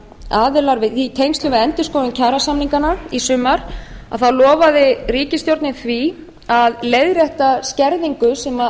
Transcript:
hálfu ríkisstjórnarinnar í tengslum við endurskoðun kjarasamninganna í sumar á lofaði ríkisstjórnin því að leiðrétta skerðingu sem